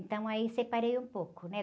Então aí separei um pouco, né?